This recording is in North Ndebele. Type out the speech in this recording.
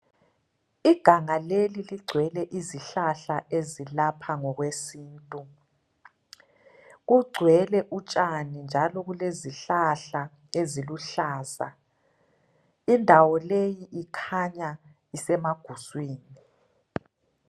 Iganga leli ligcwele izihlahla ezilapha ngokwe sintu. Kugcwele utshani njalo kulezihlahla eziluhlaza. Indawo leyi ikhanya isemaguswini